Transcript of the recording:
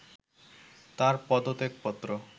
তাঁর পদত্যাগপত্র